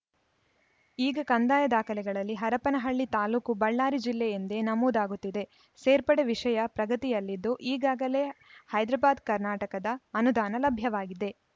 ಈಗ ಕಂದಾಯ ದಾಖಲೆಗಳಲ್ಲಿ ಹರಪನಹಳ್ಳಿ ತಾಲೂಕು ಬಳ್ಳಾರಿ ಜಿಲ್ಲೆ ಎಂದೇ ನಮೂದಾಗುತ್ತಿದೆ ಸೇರ್ಪಡೆ ವಿಷಯ ಪ್ರಗತಿಯಲ್ಲಿದ್ದು ಈಗಾಗಲೇ ಹೈದ್ರಬಾದ್ ಕರ್ನಾಟಕದ ಅನುದಾನ ಲಭ್ಯವಾಗಿದೆ